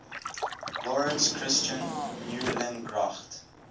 laurits christian meulengracht